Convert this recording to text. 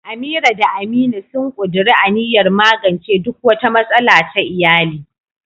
Amira da Aminu sun ƙuduri aniyar magance duk wata matsala ta iyali.